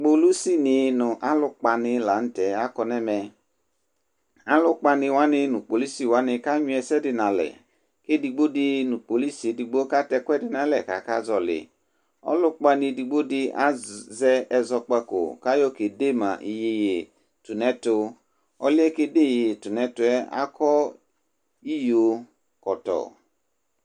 polisi ni nʋ alʋ kpɔalu lantɛ akɔnʋ ɛmɛ, alʋ kpani wani nʋ polisi ka nyʋɛ ɛsɛdi nʋ alɛ kʋ ɛdigbɔ di nʋ polisi ɛdigbɔ ka tɛ ɛkʋɛdi nʋ alɛ kʋ aka zɔli, ɔlʋ kpani ɛdigbɔ di azɛ ɛzɔkpakɔ kʋ ayɔ kɛ dɛ ma yɛyɛ tʋnʋ ɛtʋ, ɔlʋɛ kɛ dɛ yɛyɛ tʋnɛtʋɛ akɔ iyɔ kɔtɔ